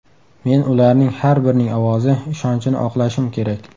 Men ularning har birining ovozi, ishonchini oqlashim kerak.